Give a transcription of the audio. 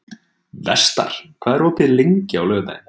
Vestar, hvað er opið lengi á laugardaginn?